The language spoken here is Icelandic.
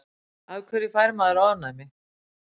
af hverju fær maður ofnæmi